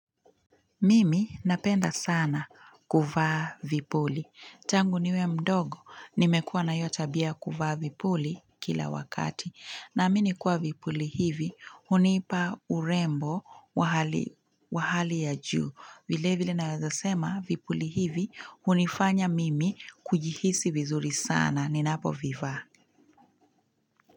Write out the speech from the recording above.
Mimi napenda sana kuvaa vipuli. Tangu niwe mdogo, nimekuwa na hiyo tabia ya kuvaa vipuli kila wakati. Naamini kuwa vipuli hivi, hunipa urembo wa hali, wa hali ya juu. Vilevile naweza sema vipuli hivi, hunifanya mimi kujihisi vizuri sana ninapo vivaa.